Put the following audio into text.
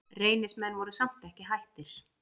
Reynismenn voru samt ekki hættir.